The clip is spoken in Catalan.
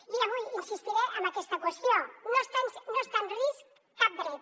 i avui insistiré en aquesta qüestió no està en risc cap dret